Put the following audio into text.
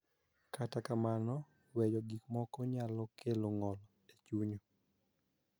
Kata kamano, weyo gik moko nyalo kelo ng�ol e chuny,